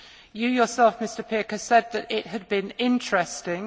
You yourself, Mr Pirker, said that it had been interesting.